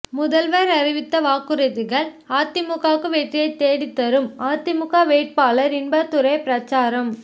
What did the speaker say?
முதல்வர் அறிவித்த வாக்குறுதிகள் அதிமுகவுக்கு வெற்றியை தேடி தரும் அதிமுக வேட்பாளர் இன்பதுரை பிரசாரம்